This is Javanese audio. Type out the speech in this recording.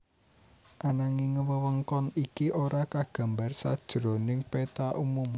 Ananging wewengkon iki ora kagambar sajroning péta umum